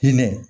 Hinɛ